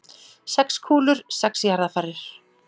Sex kúlur, sex jarðarfarir.